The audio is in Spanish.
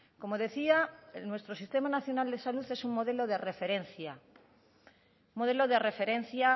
como decía nuestro sistema nacional de salud es un modelo de referencia un modelo de referencia